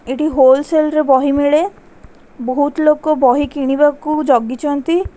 ଏଠି wholesale ରେ ବହି ମିଳେ ବହୁତ୍ ଲୋକ ବହି କିଣିବାକୁ ଜଗିଛନ୍ତି।